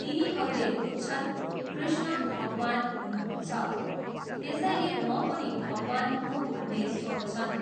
तिनीहरूले बुझ्छन्, कृष्ण भगवान हुनुहुन्छ, त्यसैले म पनि भगवान हुँ भन्ने सोच्छन्।